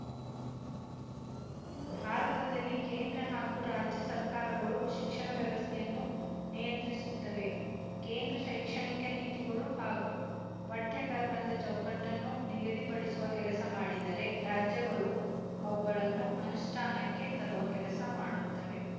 ಭಾರತದಲ್ಲಿ ಕೇಂದ್ರ ಹಾಗು ರಾಜ್ಯ ಸರಕಾರಗಳು ಶಿಕ್ಷಣ ವ್ಯವಸ್ಥೆಯನ್ನು ನಿಯಂತ್ರಿಸುತ್ತವೆ ಕೇಂದ್ರ ಶೈಕ್ಷಣಿಕ ನೀತಿಗಳು ಹಾಗು ಪಠ್ಯಕ್ರಮದ ಚೌಕಟ್ಟನ್ನು ನಿಗದಿ ಪಡಿಸುವ ಕೆಲಸ ಮಾಡಿದರೆ ರಾಜ್ಯಗಳು ಅವುಗಳನ್ನು ಅನುಷ್ಠಾನಕ್ಕೆ ತರುವ ಕೆಲಸ ಮಾಡುತ್ತವೆ